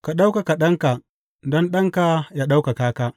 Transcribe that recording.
Ka ɗaukaka Ɗanka, don Ɗanka yă ɗaukaka ka.